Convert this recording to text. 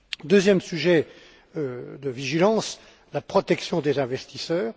Deuxième sujet de vigilance la protection des investisseurs.